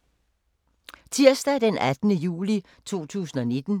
Tirsdag d. 18. juni 2019